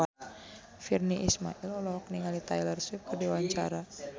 Virnie Ismail olohok ningali Taylor Swift keur diwawancara